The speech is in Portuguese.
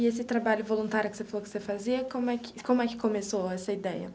E esse trabalho voluntário que você falou que você fazia, como é que como é que começou essa ideia?